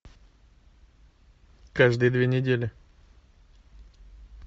каждые две недели